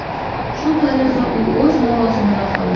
Shu tariqa, u o‘z lavozimida qoldi.